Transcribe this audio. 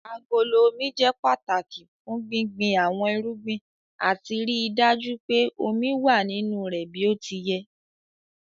Agolo Omi jẹ́ pàtàki fún gbíngbin àwọn irúgbìn àti ríi dájú pé omi wà nínú rẹ̀ bí ó ti yẹ.